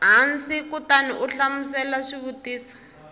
hansi kutani u hlamula swivutiso